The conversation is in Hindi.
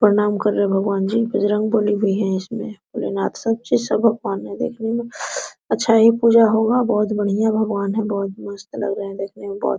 प्रणाम कर रहे है भगवान जी बजरंग बली भी है इसमें भोले नाथ सब भगवान है देखने में अच्छा पूजा हे होगा बहुत बढियाँ भगवान है बहुत मस्त लग रहा है देखने में।